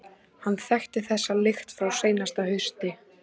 Hann þekkti þessa lykt frá seinasta hausti.